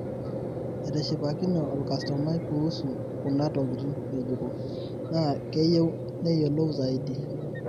etishipakine olkastoma kuusu kuna tokitin ngejuko na keyieu neyolou zaidi